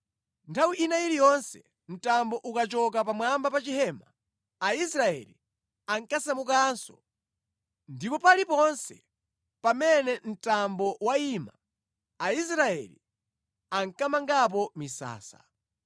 Nthawi ina iliyonse mtambo ukachoka pamwamba pa chihema, Aisraeli ankasamukanso, ndipo paliponse pamene mtambo wayima, Aisraeli ankamangapo misasa.